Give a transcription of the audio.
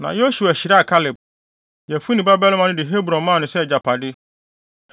Na Yosua hyiraa Kaleb, Yefune babarima no de Hebron maa no sɛ agyapade.